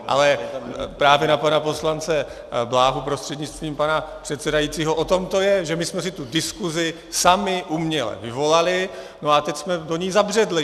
Ale právě na pana poslance Bláhu prostřednictvím pana předsedajícího, o tom to je, že my jsme si tu diskuzi sami uměle vyvolali, a teď jsme do ní zabředli.